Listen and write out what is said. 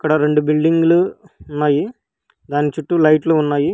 ఆ రెండు బిల్డింగులు ఉన్నాయి దాని చుట్టూ లైట్లు ఉన్నాయి.